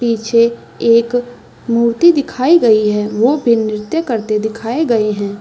पीछे एक मूर्ति दिखाई गई है वो भी नृत्य करते दिखाए गए है।